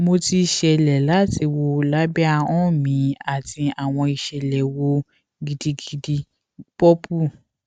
mo ti ṣẹlẹ lati wo labẹ ahọn mi ati awọn isẹlẹ wo gidigidi purple